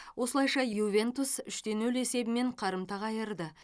осылайша ювентус үш те нөл есебімен қарымта қайырды